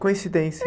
Coincidência.